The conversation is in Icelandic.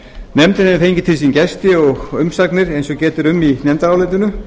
nefndin hefur fengið til sín gesti og umsagnir eins og getið er um í nefndarálitinu